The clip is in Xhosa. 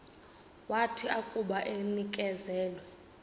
wathi akuba enikezelwe